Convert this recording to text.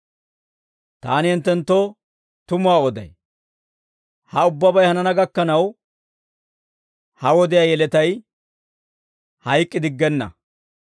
Taani hinttenttoo tumuwaa oday; ha ubbabay hanana gakkanaw, ha wodiyaa yeletay hayk'k'idiggenna.